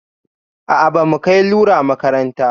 A'a, bamu kai lura makaranta.